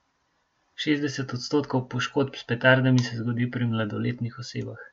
Šestdeset odstotkov poškodb s petardami se zgodi pri mladoletnih osebah.